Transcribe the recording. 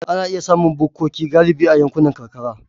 Ana iya samun bukkoki galibi a yankunan karkara.